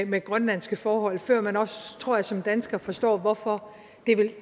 med grønlandske forhold før man også tror jeg som dansker forstår hvorfor